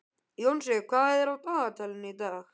Jónsi, hvað er á dagatalinu í dag?